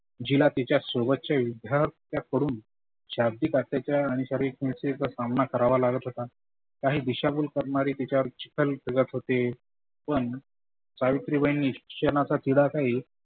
जीला तिच्या सोबतच्या विद्यार्थ्याकडून शाब्दीक अत्याचार आनुपचारीकतेचा सामना करावा लागत होता. काही दिशा भुल करणारी तिच्यावर चिखल फेकत होते. पण सावित्रीबाईनी शिक्षणाचा किडा काही